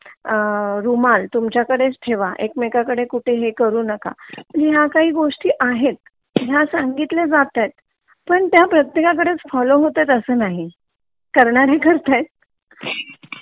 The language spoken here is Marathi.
अ रुमाल तुममच्याकडेच ठेवा एकमेकान कडे कुठे हे करू नका म्हणजे ह्या काही गोष्टी आहेत ह्या सांगितल्या जातयात तर ते प्रत्येकडे फॉलो होतातच असा नही करणारे करतायत